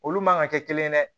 Olu man kan ka kɛ kelen ye dɛ